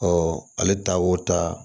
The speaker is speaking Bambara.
ale taa o ta